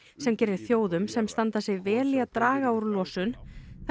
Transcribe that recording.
sem gerir þjóðum sem standa sig vel í að draga úr losun